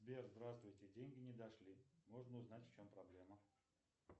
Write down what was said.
сбер здравствуйте деньги не дошли можно узнать в чем проблема